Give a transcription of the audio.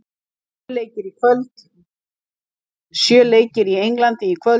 Sjö leikir í Englandi í kvöld